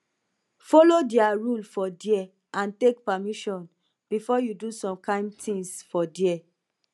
follow their rule for there and take permission before you do some kind things for there